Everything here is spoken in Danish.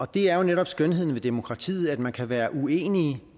det er jo netop skønheden ved demokratiet at man kan være uenige